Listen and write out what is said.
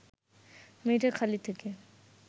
মিঠেখালি থেকে